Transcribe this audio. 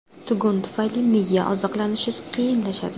Tugun tufayli miya oziqlanishi qiyinlashadi.